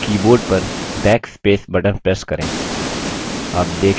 अब keyboard पर backspace button press करें